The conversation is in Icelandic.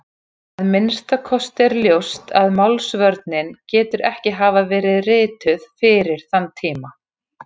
Að minnsta kosti er ljóst að Málsvörnin getur ekki hafa verið rituð fyrir þann tíma.